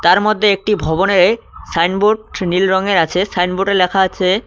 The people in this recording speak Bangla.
তার মধ্যে একটি ভবনে সাইনবোড নীল রঙের আছে সাইনবোডে লেখা আছে --